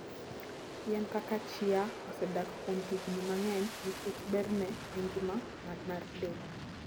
Yien kaka chia osedak kuom higni mang'eny nikech berne e ngima mar del.